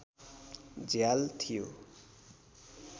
झ्याल थियो